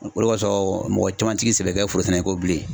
O de kɔsɔn mɔgɔ caman ti k'i sɛbɛ kɛ forosɛnɛko ye bilen.